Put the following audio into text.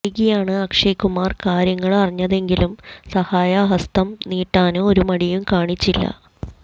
വൈകിയാണ് അക്ഷയ് കുമാര് കാര്യങ്ങള് അറിഞ്ഞതെങ്കിലും സഹായ ഹസ്തം നീട്ടാന് ഒരു മടിയും കാണിച്ചില്ല